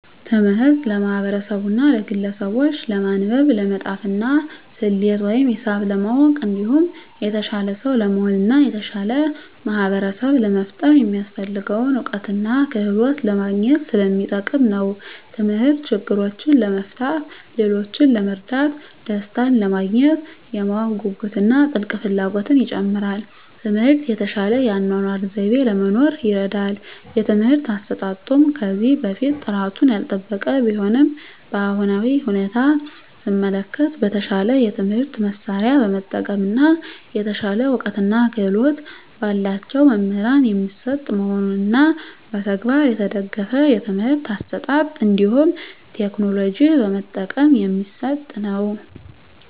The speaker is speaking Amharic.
ትምህርት ለማህበርሰቡና ለግለሰቡች ለማንበብ፣ ለመፃፍና፣ ሰሌት ወይም ሂሳብ ለማወቅ እንዲሁም የተሻለ ሰው ለመሆን እና የተሻለ ማህበርሰብ ለመፍጠር የሚያሰፍልገውን እውቀትና ክህሎት ለማግኝት ሰለሚጠቅም ነው። ተምህርት ችግሮችን ለመፍታት፣ ሌሎችን ለመርዳት፣ ደሰታንለማግኘት፣ የማወቅ ጉጉትን እና ጥልቅ ፍላጎትን ይጨምራል። ትምህርት የተሻለ የአኗኗር ዘይቤ ለመኖር ይርዳል። የትምህርት አሰጣጡም ከዚህ በፊት ጥራቱን ያልጠበቀ ቢሆንም በአሁናዊ ሁኔታ ሰመለከት በተሻለ የትምህርት መሳርያ በመጠቀም እና የተሻለ እውቀትና ክህሎት በላቸው መምህራን የሚሰጥ መሆኑንና በተግባር የተደገፍ የትምህርት አሰጣጥ እንዲሁም ቴክኖሎጂ በመጠቀም የሚሰጥ ነው።